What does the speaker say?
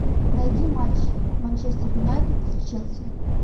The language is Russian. найди матч манчестер юнайтед с челси